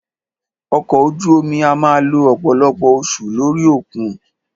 Ọkọ̀ ojú omi a máà lo ọ̀pọ̀lọpọ̀ oṣù lórí òkun.